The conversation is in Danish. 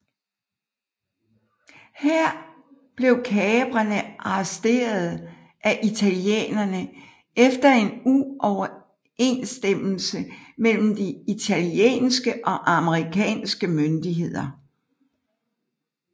Her blev kaprerne arresteret af italienerne efter en uoverenstemmelse mellem de italienske og amerikanske myndigheder